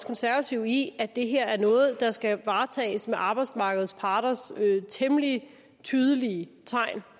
konservative i at det her er noget der skal varetages med arbejdsmarkedets parters temmelig tydelige tegn